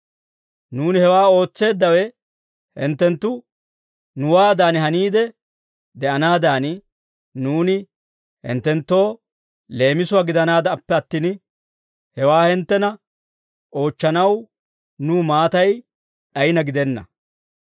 Nuuni hewaa ootseeddawe hinttenttu nuwaadan haniide de'anaadan, nuuni hinttenttoo leemisuwaa gidanaadappe attin, hewaa hinttena oochchanaw nuw maatay d'ayina gidenna.